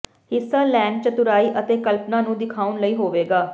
ਹਿੱਸਾ ਲੈਣ ਚਤੁਰਾਈ ਅਤੇ ਕਲਪਨਾ ਨੂੰ ਦਿਖਾਉਣ ਲਈ ਹੋਵੇਗਾ